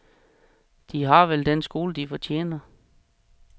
De har vel den skole de fortjener.